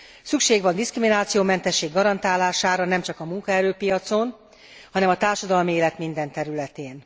Szükség van diszkriminációmentesség garantálására, nemcsak a munkaerőpiacon, hanem a társadalmi élet minden területén.